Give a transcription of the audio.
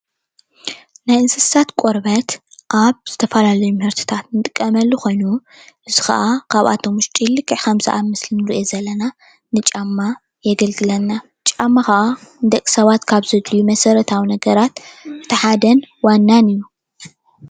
ናይ እንስሳት ቆርበት አብ ዝተፈላለዩ ምህርትታት እንጥቀመሉ ኾይኑ ንሱ ኸዓ ኻብኣቶም ውሽጢ ልክዕ ኸምቲ ኣብ ምስሊ እንሪኦ ዘለና ንጫማ የገልግለና ጨማ ኸዓ ንደቂሰባት ካብ ዘድልዩ መሰረተውን ነገራት እቲ ሓደን ዋናን እዩ።